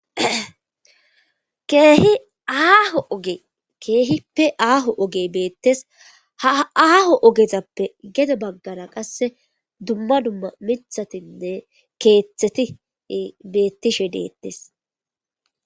keehi aaho oge keehippe aaho oge beettes ha aaho ogezappe gede baggara qasse dumma dumma mithatinne keeththeti beettishe deettes